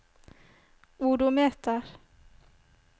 odometer